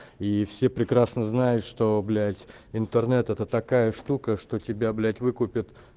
и все прекрасно знают что блять интернет это такая штука что тебя блять выкупят